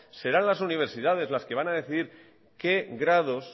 serán las universidades las que van a decidir qué grados